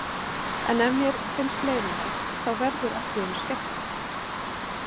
En ef mér finnst leiðinlegt, þá verður allt í einu skemmtilegt.